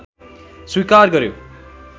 स्वीकार गर्‍यो